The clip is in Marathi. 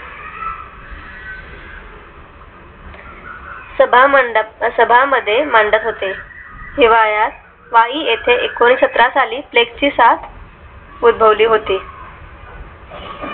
सभा मंडप सभा मध्ये मंडप होते. हिवाळ्या वाही येथे एकोणीशेसत्रा साली flex सात उद्भवली होती